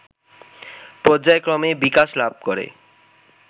পর্যায়ক্রমে বিকাশ লাভ করে